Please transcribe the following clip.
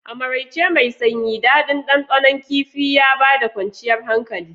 A maraice mai sanyi, daɗin ɗanɗanon kifin Kifi ya ba da kwanciyar hankali.